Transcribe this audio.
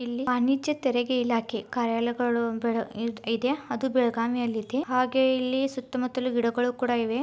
ವಾಣಿಜ್ಯ ತೆರಿಗೆ ಇಲಾಖೆ ಕಾರ್ಯಗಳು ಇದೆ ಅದು ಬೆಳಗಾವಿ ಅಲ್ಲಿಇದೆ ಹಾಗೆ ಇಲ್ಲಿ ಸುತ್ತು ಮುತ್ತುಲು ಗಿಡಗಳು ಕೂಡಾ ಇವೆ.